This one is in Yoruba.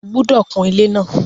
O gbúdọ̀ kun ilé náà!